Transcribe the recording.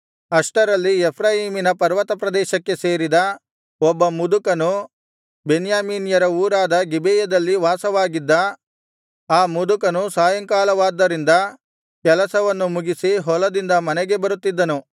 ಅಷ್ಟರಲ್ಲಿ ಎಫ್ರಾಯೀಮಿನ ಪರ್ವತಪ್ರದೇಶಕ್ಕೆ ಸೇರಿದ ಒಬ್ಬ ಮುದುಕನು ಬೆನ್ಯಾಮೀನ್ಯರ ಊರಾದ ಗಿಬೆಯದಲ್ಲಿ ವಾಸವಾಗಿದ್ದ ಆ ಮುದುಕನು ಸಾಯಂಕಾಲವಾದ್ದರಿಂದ ಕೆಲಸವನ್ನು ಮುಗಿಸಿ ಹೊಲದಿಂದ ಮನೆಗೆ ಬರುತ್ತಿದ್ದನು